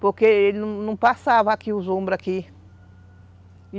Porque ele não passava aqui, os ombros aqui.